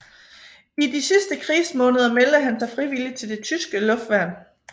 I de sidste krigsmåneder meldte han sig frivilligt til det tyske luftværn